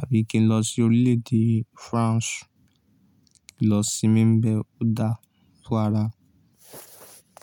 àbí kí n lọ sí orílẹ̀-èdè Faransé lọ sinmi bẹ ọ̀dà fún ara.